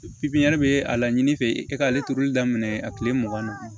pipiɲɛri be a laɲini fe e k'ale turuli daminɛ a kile mugan na